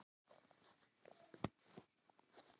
Naut stakk mann til bana